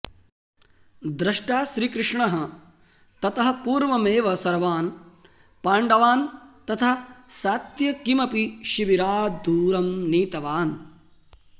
द्रष्टा श्रीकृष्णः ततः पूर्वमेव सर्वान् पाण्डवान् तथा सात्यकिमपि शिबिराद् दूरं नीतवान्